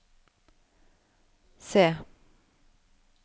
C